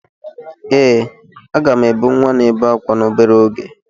Ee, a ga m ebu nwa na-ebe ákwá n'obere oge.